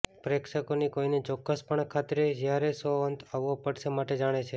પ્રેક્ષકોની કોઇને ચોક્ક્સપણે ખાતરી જ્યારે શો અંત આવવો પડશે માટે જાણે છે